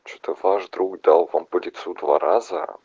что ваш друг дал вам по лицу два раза